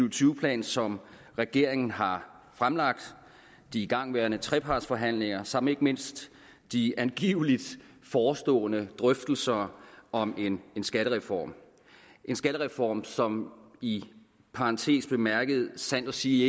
og tyve plan som regeringen har fremlagt de igangværende trepartsforhandlinger samt ikke mindst de angiveligt forestående drøftelser om en skattereform en skattereform som i parentes bemærket sandt at sige